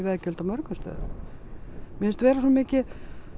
veggjöld á mörgum stöðum mér finnst vera svo mikið